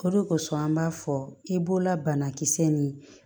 O de kosɔn an b'a fɔ i bololabana kisɛ nin